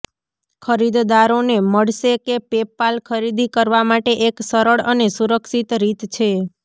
ખરીદદારોને મળશે કે પેપાલ ખરીદી કરવા માટે એક સરળ અને સુરક્ષિત રીત છે